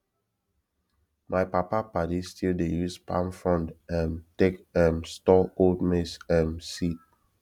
my papa padi still dey use palm frond um take um store old maize um seed